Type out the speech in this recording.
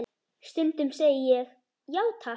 Stundum segi ég: já, takk.